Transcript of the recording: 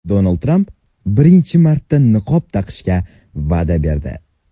Donald Tramp birinchi marta niqob taqishga va’da berdi.